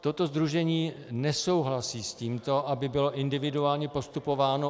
Toto sdružení nesouhlasí s tím, aby bylo individuálně postupováno.